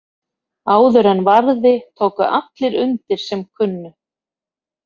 Áður en varði tóku allir undir sem kunnu.